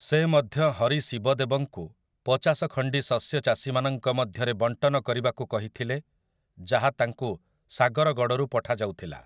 ସେ ମଧ୍ୟ ହରି ଶିବଦେବଙ୍କୁ ପଚାଶ ଖଣ୍ଡି ଶସ୍ୟ ଚାଷୀମାନଙ୍କ ମଧ୍ୟରେ ବଣ୍ଟନ କରିବାକୁ କହିଥିଲେ ଯାହା ତାଙ୍କୁ ସାଗରଗଡ଼ରୁ ପଠାଯାଉଥିଲା ।